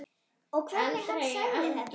Og hvernig hann sagði þetta.